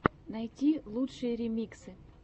найти лучшие ремиксы